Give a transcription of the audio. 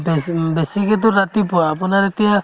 বেছিম্ ~ উম বেছিকেতো ৰাতিপুৱা আপোনাৰ এতিয়া